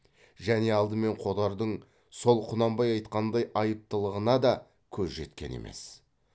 және алдымен қодардың сол құнанбай айтқандай айыптылығына да көзі жеткен емес